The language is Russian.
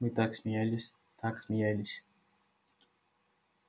мы так смеялись так смеялись